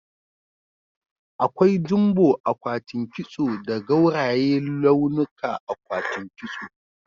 Akwai jumbo akwatin kiso da gauraye launuka akwatin kiso.